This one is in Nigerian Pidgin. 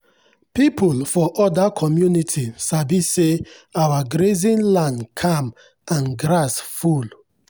people for other community sabi say our grazing land calm and grass full.